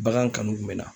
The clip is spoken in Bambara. Bagan kanu kun bɛ na